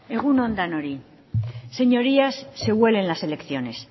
egun on denoi señorías se huelen las elecciones